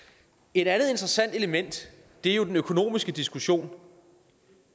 et andet interessant element er jo den økonomiske diskussion